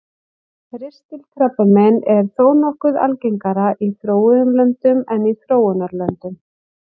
Ristilkrabbamein er þó nokkuð algengara í þróuðum löndum en í þróunarlöndum.